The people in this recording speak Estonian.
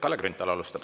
Kalle Grünthal alustab.